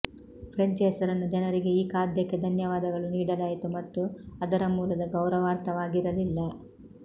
French ಹೆಸರನ್ನು ಜನರಿಗೆ ಈ ಖಾದ್ಯಕ್ಕೆ ಧನ್ಯವಾದಗಳು ನೀಡಲಾಯಿತು ಮತ್ತು ಅದರ ಮೂಲದ ಗೌರವಾರ್ಥವಾಗಿರಲಿಲ್ಲ